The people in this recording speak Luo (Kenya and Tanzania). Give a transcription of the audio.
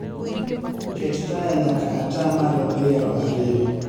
Ket taya nyaka atamalo piero ariyo